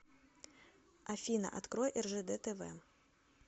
афина открой ржд тв